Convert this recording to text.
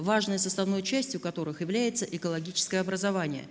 важной составной частью которых является экологическое образование